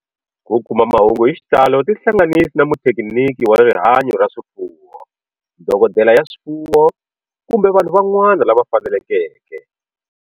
Ku kuma mahungu hi xitalo tihlanganisi na muthekiniki wa rihanyo ra swifuwo, dokodela ya swifuwo, kumbe vanhu van'wana lava fanelekeke.